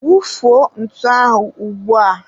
wufuo ntu ahụ ugbua!